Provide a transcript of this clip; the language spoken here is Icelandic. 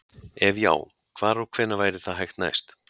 Ef já, hvar og hvenær væri það hægt næst?